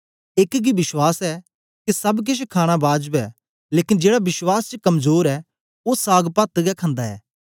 एक गी विश्वास ऐ के सब केछ खाणा बाजब ऐ लेकन जेड़ा विश्वास च कमजोर ऐ ओ सागपत गै खंदा ऐ